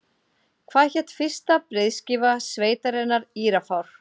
Hvað hét fyrsta breiðskífa sveitarinnar Írafár?